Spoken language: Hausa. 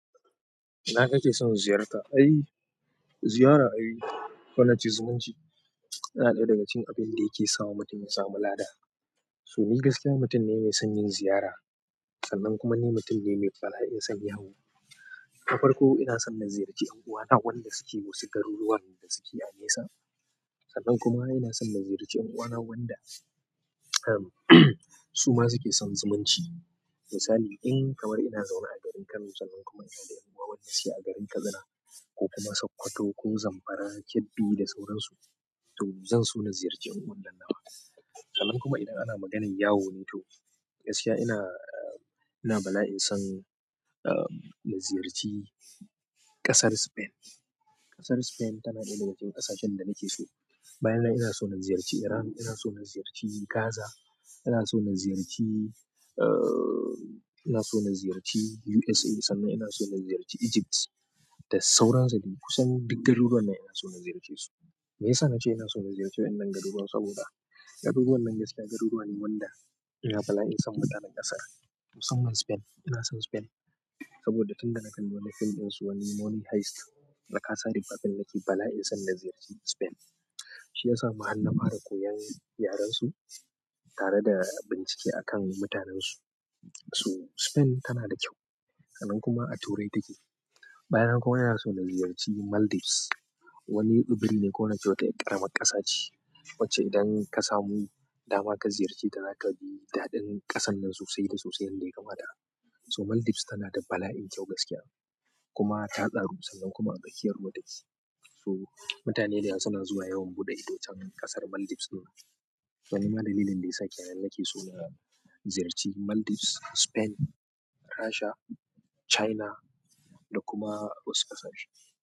Ina ka ke son ziyarta? Ai, ziyara ai, ko na ce zumunci? Tana ɗaya daga cikin abin da yake sawa mutum ya samu lada. So ni gaskiya, mutum ne mai son yin ziyara, sannan kuma ni mutum ne mai bala'in son yawo. Na farko ina son na ziyarci ƴan uwana wanda su ke wasu garuruwan da suke a nesa. Sannan kuma ina son na ziyarci ƴan uwana wanda su ma su ke son zumunci. Misali in kamar ina zaune a garin Kano sannan kuma ina da ƴan uwa wanda suke a garin Katsina ko kuma Sokoto ko Zamfara, Kebbi da sauran su, to zan so na ziyarci ƴan uwan nan nawa. Sannan kuma idan ana maganan yawo ne to gaskiya ina, ina bala'in son, uh, na ziyarci ƙasar Spain. Ƙasar Spain tana ɗaya daga cikin ƙasashen da nake so. Bayan nan ina so na ziyarci Iran, ina so na ziyarci Gaza, ina so na ziyarci, uh, ina so na ziyarci USA sannan ina so na ziyarci Egypt da sauran su. Kusan duk garuruwan nan ina so na ziyarce su. Meyasa na ce ina so na ziyarci wannan garuruwan saboda garuruwan nan gaskiya garuruwa ne wanda ina bala'in son mutanen ƙasar. Musamman Spain, ina son Spain saboda tun da na kalli wani fim ɗin su wani Money Heist na kasa rik'a fim nake bala'in son na ziyarci Spain. Shi ya sa ma har na fara koyan yaren su tare da bincike a kan mutanen su. So Spain tana da kyau. Sannan kuma a turai ta ke. Bayan nan kuma ina son na ziyar ci maldives. Wani tsibiri ko nace wata yar ƙaramar ƙasa ce wacce idan ka samu dama ka ziyarce ta zaka ji daɗin ƙasan nan sosai da sosai yanda ya kamata. So Maldives tana da bala'in kyau gaskiya kuma ta tsaru sannan kuma a tsakiyar ruwa ta ke. So mutane da yawa suna zuwa yawon buɗe ido can ƙasar Maldives ɗin. Ko nima dalilin da yasa kenan nake so na ziyarci Maldives, Spain, Rasha, China da kuma wasu ƙasashe.